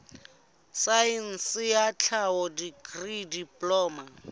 saense ya tlhaho dikri diploma